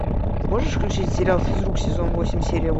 можешь включить сериал физрук сезон восемь серия